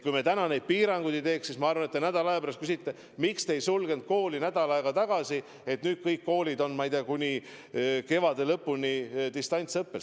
Kui me täna neid piiranguid ei teeks, siis ma arvan, et te nädala aja pärast küsiksite: miks te ei sulgenud koole nädal aega tagasi, nüüd on kõik koolid kuni kevade lõpuni distantsõppel?